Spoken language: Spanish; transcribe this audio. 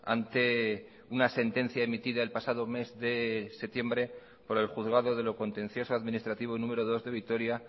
ante una sentencia emitida el pasado mes de septiembre por el juzgado de lo contencioso administrativo número dos de vitoria